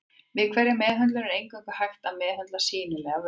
Við hverja meðhöndlun er eingöngu hægt að meðhöndla sýnilegar vörtur.